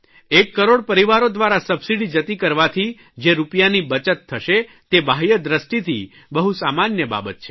એક કરોડ પરિવારો દ્વારા સબસીડી જતી કરવાથી જે રૂપિયાની બચત થશે તે બાહ્ય દ્રષ્ટિથી બહુ સામાન્ય બાબત છે